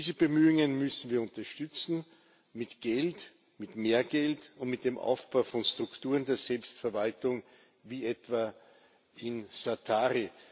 Diese Bemühungen müssen wir unterstützen, mit Geld, mit mehr Geld und mit dem Aufbau von Strukturen der Selbstverwaltung, wie etwa in Zaatari.